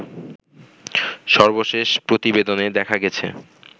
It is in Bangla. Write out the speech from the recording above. সর্বশেষ প্রতিবেদনে দেখা গেছে